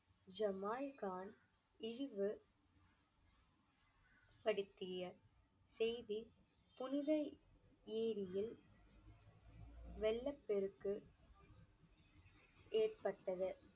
Jamal Khan இழிவு படுத்திய செய்தி புனித ஏரியில் வெள்ளப்பெருக்கு ஏற்பட்டது.